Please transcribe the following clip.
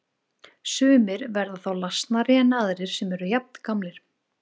Sumir verða þá lasnari en aðrir sem eru jafngamlir.